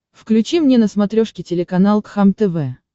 включи мне на смотрешке телеканал кхлм тв